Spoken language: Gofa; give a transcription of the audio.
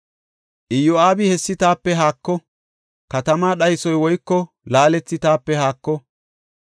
Iyo7aabi, “Hessi taape haako! Katamaa dhaysoy woyko laalethi taape haako!